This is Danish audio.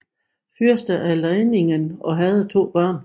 Fyrste af Leiningen og havde to børn